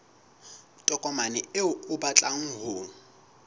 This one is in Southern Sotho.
tokomane eo o batlang ho